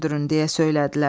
deyə söylədilər.